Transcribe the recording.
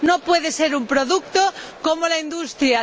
no puede ser un producto como la industria